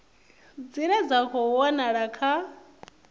dzine dza khou wanala kha